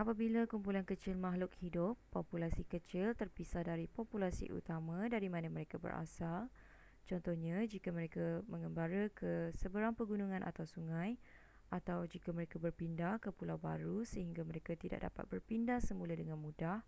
apabila kumpulan kecil makhluk hidup populasi kecil terpisah dari populasi utama dari mana mereka berasal contohnya jika mereka mengembara ke seberang pegunungan atau sungai atau jika mereka berpindah ke pulau baru sehingga mereka tidak dapat berpindah semula dengan mudah